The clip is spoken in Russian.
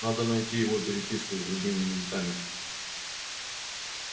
надо найти его переписку с другими ментами